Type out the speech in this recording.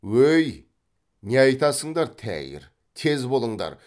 өй не айтасыңдар тәйір тез болыңдар